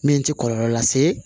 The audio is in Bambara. Min tɛ kɔlɔlɔ lase